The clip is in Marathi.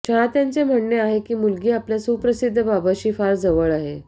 चाहत्यांचे म्हणणे आहे की मुलगी आपल्या सुप्रसिद्ध बाबाशी फार जवळ आहे